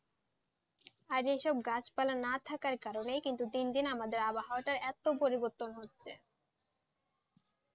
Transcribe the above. আর এইসব গাছপালা না থাকার কারণেই কিন্তু দিন দিন আমাদের আবহাওয়াটা এত পরিবর্তন হচ্ছে,